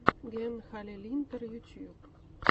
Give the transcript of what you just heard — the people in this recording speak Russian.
ген халилинтар ютьюб